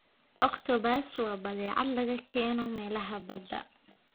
Octopus waa badeecad laga keeno meelaha badda.